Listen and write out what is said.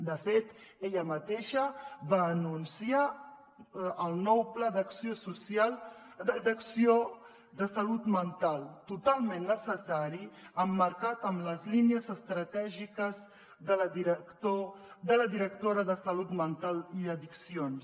de fet ella mateixa va anunciar el nou pla d’acció de salut mental totalment necessari emmarcat en les línies estratègiques de la directora de salut mental i addiccions